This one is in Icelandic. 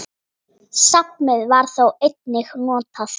Safnið var þó einnig notað.